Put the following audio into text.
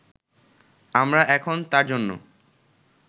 আমরা এখন তার জন্য